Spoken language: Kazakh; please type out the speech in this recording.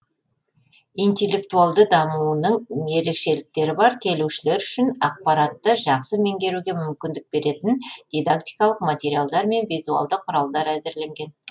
интеллектуалды дамуының ерекшеліктері бар келушілер үшін ақпаратты жақсы меңгеруге мүмкіндік беретін дидактикалық материалдар мен визуалды құралдар әзірленген